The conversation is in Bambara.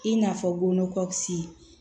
I n'a fɔ ngo kɔci